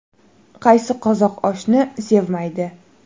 Qaysi qozoq oshni sevmaydi?